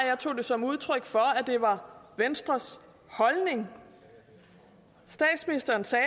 jeg tog det som udtryk for at det var venstres holdning statsministeren sagde